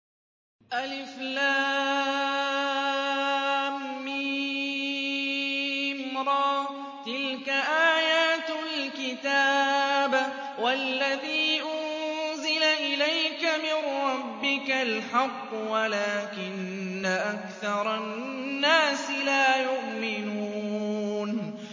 المر ۚ تِلْكَ آيَاتُ الْكِتَابِ ۗ وَالَّذِي أُنزِلَ إِلَيْكَ مِن رَّبِّكَ الْحَقُّ وَلَٰكِنَّ أَكْثَرَ النَّاسِ لَا يُؤْمِنُونَ